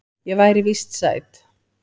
Ég væri víst sæt.